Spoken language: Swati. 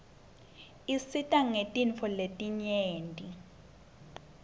tisisita ngetintfo letinyeti